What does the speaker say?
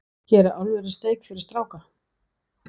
Hér er alvöru steik fyrir stráka.